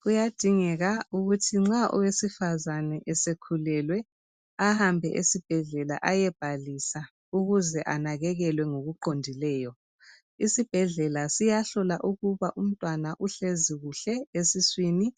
Kuyadingeka ukuthi nxa owesifazana esekhulelwe ahambe esibhedlela ayebhalisa ukuze anakekelwe ngokuqondileyo. Isibhedlela siyahlola ukuba umntwana uhlezi kuhle esiswini,